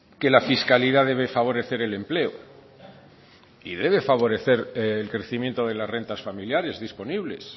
que la fiscalidad debe favorecer el empleo y debe favorecer el crecimiento de las rentas familiares disponibles